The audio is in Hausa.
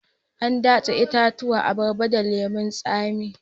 An datse itatuwan abarba da lemun tsamin